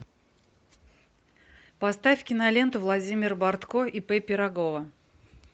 поставь киноленту владимир бортко ип пирогова